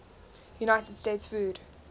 united states food